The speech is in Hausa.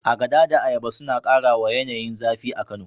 Agada da ayaba suna kara wa yanayin zafi a Kano.